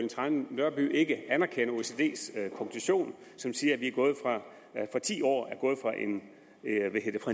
trane nørby ikke anerkender oecds konklusion som siger at vi på ti år er gået fra en